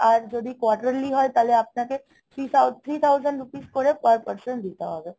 আর যদি quarterly হয় তাহলে আপনাকে three thou~ three thousand rupees করে per person দিতে হবে.